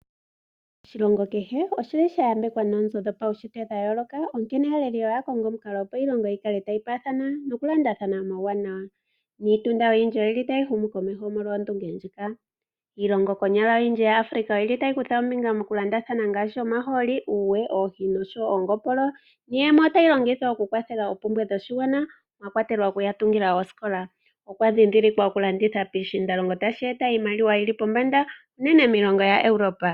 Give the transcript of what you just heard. Oshilongo kehe oshili sha yambekwa noonzo dhopaushitwe dha yooloka onkene aaleli oya omukalo opo iilongo yi kale tayi paathana nokulandathana omauwanawa, niitunda oyindji oyili yahuma komeho molwa ondunge ndjika. Iilongo oyindji yomuAfrica oyili yakutha ombinga mokulandathana ngaashi uuwe, omahooli, oohi nongopolo nayimwe oyili tayi kwathele oku kwathela moshigwana ngaashi oku tunga oosikola. Okwa dhindhilikwa okulanditha piishindalonho tashi eta iimaliwa yili pombanda moshilongo unene tuu kiilongo yaEuropa.